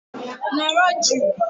Nọrọ jụụ!!